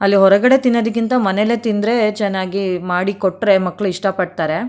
ಅಲ್ಲಿ ಹೊರಗಡೆ ತಿನ್ನೋದಕ್ಕಿಂತ ಮನೇಲೇ ತಿಂದ್ರೆ ಚೆನ್ನಾಗಿ ಮಾಡಿ ಕೊಟ್ರೆ ಮಕ್ಕಳು ಇಷ್ಟ ಪಡ್ತಾರೆ.